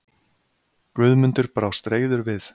Guðmundur brást reiður við.